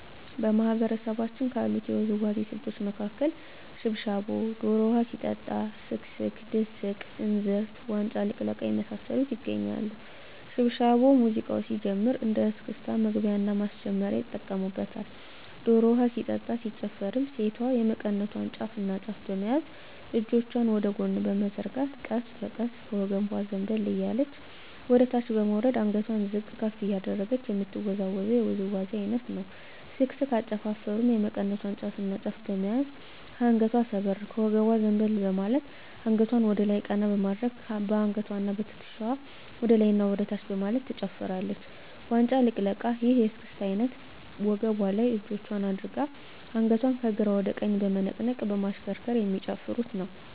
በማህበረሰባችን ካሉት የውዝዋዜ ስልቶች መካከል ሽብሻቦ ዶሮ ውሀ ሲጠጣ ስክስክ ድስቅ እንዝርት ዋንጫ ልቅለቃ የመሳሰሉት ይገኛሉ። ሽብሻቦ ሙዚቃው ሲጀምር እንደ እስክስታ መግቢያና ማስጀመሪያ ይጠቀሙበታል። ዶሮ ውሀ ሲጠጣ ሲጨፈርም ሴቷ የመቀነቷን ጫፍና ጫፍ በመያዝ እጆቿን ወደ ጎን በመዘርጋት ቀስ በቀስ ከወገቧ ዘንበል እያለች ወደታች በመውረድ አንገቷን ዝቅ ከፍ እያደረገች የምትወዛወዘው ውዝዋዜ አይነት ነው። ስክስክ አጨፋፈሩም የመቀነቷን ጫፍና ጫፍ በመያዝ ከአንገቷ ሰበር ከወገቧ ዘንበል በማለት አንገቷን ወደላይ ቀና በማድረግ በአንገትዋና በትክሻዋ ወደላይና ወደታች በማለት ትጨፍራለች። ዋንጫ ልቅለቃ ይህ የእስክስታ አይነት ወገቧ ላይ እጆቿን አድርጋ አንገቷን ከግራ ወደ ቀኝ በመነቅነቅ በማሽከርከር የሚጨፍሩት ነው።